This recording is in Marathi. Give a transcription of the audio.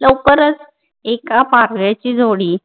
लवकरच एका पाकळेची जोडी